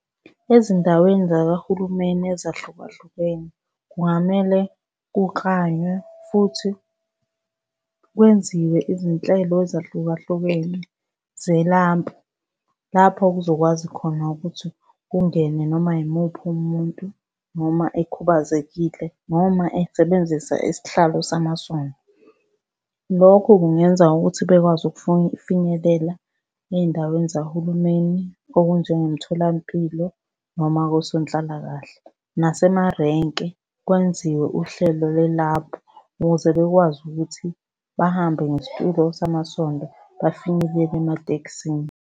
Ezindaweni zakahulumeni ezahlukahlukene kungamele kuklanywe futhi kwenziwe izinhlelo ezahlukahlukene zelampu, lapho kuzokwazi khona ukuthi kungene noma yimuphi umuntu noma ekhubazekile noma esebenzisa isihlalo samasondo. Lokho kungenza ukuthi bekwazi finyelela ey'ndaweni zahulumeni, okunjengomtholampilo noma osonhlalakahle. Nasemarenki kwenziwe uhlelo lelapu, ukuze bekwazi ukuthi bahambe ngesitulo samasondo bafinyelele ematekisini.